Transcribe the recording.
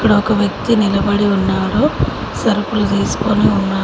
ఒక వ్యక్తి నిలబడి ఉన్నాడు సరుకులు తీసుకొని ఉన్నా--